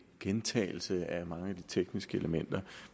gentagelse af mange af de tekniske elementer